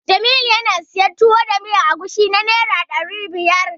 Jamilu yana siyan Tuwo da miyar agushi na Naira ɗari biyar.